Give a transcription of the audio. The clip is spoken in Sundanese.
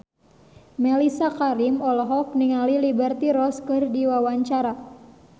Mellisa Karim olohok ningali Liberty Ross keur diwawancara